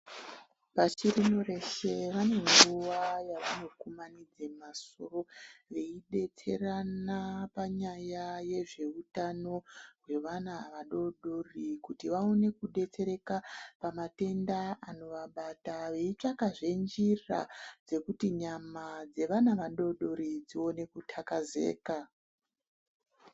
Pashi rino reshe vane nguwa yavanokumanidza masoro veyidetserana panyaya yezveutano hwevana vadodori kuti vawone kudetsereka pamatenda anovabata ,veyi tsvakazve njira dzekuti nyama dzevana vadodori, dziwone kutakazeka.